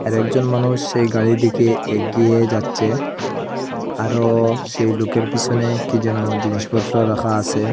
আর একজন মানুষ সেই গাড়ির দিকে এগিয়ে যাচ্ছে আরো সেই লুকের পিসনে কি যেনো জিনিসপত্র রাখা আসে।